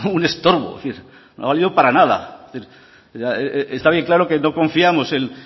un estorbo es decir no ha valido para nada es decir está bien claro que no confiamos